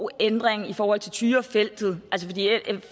ændring i forhold til tyrafeltet